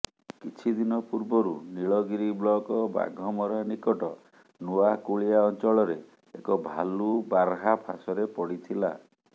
କିଛି ଦିନ ପୂର୍ବରୁ ନୀଳଗିରି ବ୍ଲକ ବାଘମରା ନିକଟ ନୂଆକୁଳିଆ ଅଞ୍ଚଳରେ ଏକ ଭାଲୁ ବାର୍ହା ଫାଶରେ ପଡ଼ିଥିଲା